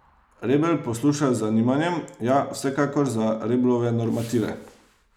Rebel posluša z zanimanjem, ja, vsekakor za Reblove normative.